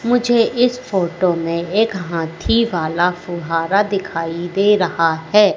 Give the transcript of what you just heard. मुझे इस फोटो में एक हाथी वाला फुहारा दिखाइ दे रहा है।